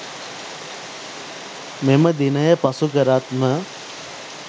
මෙම දිනය පසු කරත්ම